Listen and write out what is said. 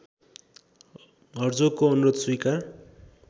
हर्जोगको अनुरोध स्वीकार